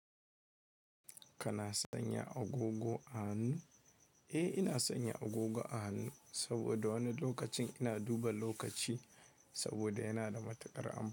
Kana sanya agogo a hannu? Eh ina sanya agogo a hannu saboda wani lokacin ina duba lokaci saboda yana da matukar amfani.